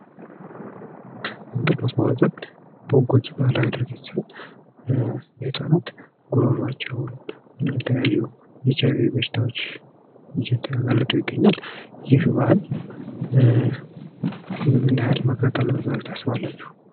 እንጥልማስቧጠጥ ጎጂ ልማዳዊ ድርጊት ሲሆን ህጻናት ጉሮሯቸውን እንዲሁም የተለያዩ ኤች አይቪ በሽታዎች እየተጋለጡ ይገኛል ይህ ባህል ምን ያክል መቅረት አለበት ብላቹ ታስባላቹ?